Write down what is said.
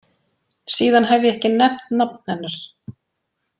Síðan hef ég ekki nefnt nafn hennar.